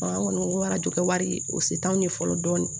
An kɔni ko arajo kɛ wari o se t'anw ye fɔlɔ dɔɔnin